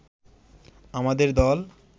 আমাদের দল